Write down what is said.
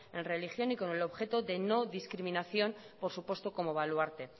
en religión y con el objeto de no discriminación o supuesto como baluarte